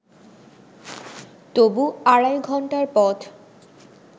তবু আড়াই ঘণ্টার পথ